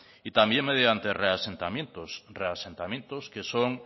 y también mediante reasentamientos reasentamientos que son